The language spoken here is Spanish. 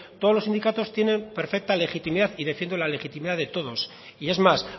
todos los sindicatos tiene perfecta legitimidad y defiendo la legitimidad de todos y es más